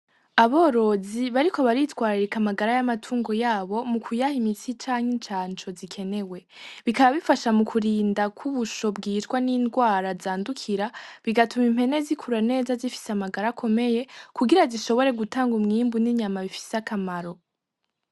Aborozi bariko baritwaririka amagara y'amatungo yabo mu kuyaha imitsi canke incanco zikenewe bikaba bifasha mu kurinda kw'ubusho bwijwa n'indwara zandukira bigatuma impene zikurura neza zifise amagara akomeye kugira zishobore gutanga umwimbu n'inyama bifise akamaro.